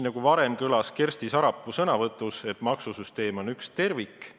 Nagu Kersti Sarapuu enne ütles, maksusüsteem on üks tervik.